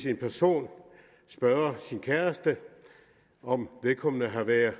en person spørger sin kæreste om vedkommende har været